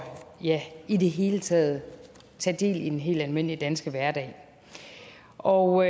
ja i det hele taget at tage del i den helt almindelige danske hverdag og